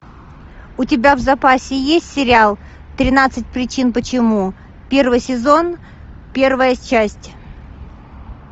у тебя в запасе есть сериал тринадцать причин почему первый сезон первая часть